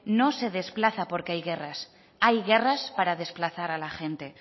no se desplaza porque hay guerras hay guerras para desplazar a la gente